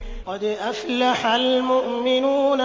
قَدْ أَفْلَحَ الْمُؤْمِنُونَ